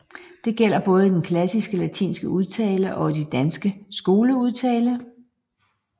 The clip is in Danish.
Det gælder både i den klassisk latinske udtale og i den danske skoleudtale